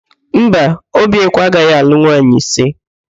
Mba, Obiekwe agaghị alụ nwaanyị ise.